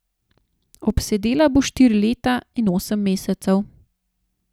Odsedela bo štiri leta in osem mesecev.